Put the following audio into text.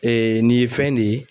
nin ye fɛn ne ye